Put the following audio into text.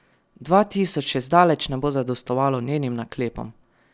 Dva tisoč še zdaleč ne bo zadostovalo njenim naklepom.